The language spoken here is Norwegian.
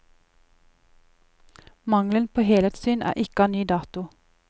Mangelen på helhetssyn er ikke av ny dato.